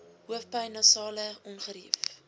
hoofpyn nasale ongerief